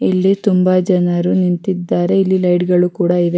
ಇಲ್ಲಿ ತುಂಬಾ ಜನರು ನಿಂತಿದ್ದಾರೆ ಇಲ್ಲಿ .]